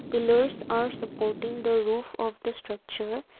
pillars are supporting the roof of the structure.